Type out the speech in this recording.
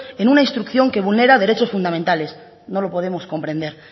en una instrucción que vulnera derechos fundamentales no lo podemos comprender